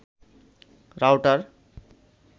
router